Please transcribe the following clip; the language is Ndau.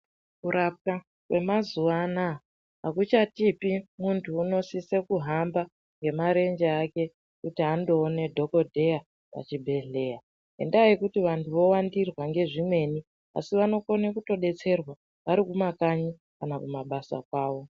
Kurapwa kwemazuvaanaya hakuchatipi muntu unosise kuhamba ngemarenje kuti andoona dhokodheya kuchibhedhlera ngendaa yekuti vantu vowandirwa ngezvimweni asi vanokone kudetserwa varikumakanyi kana kumabasa kwavo.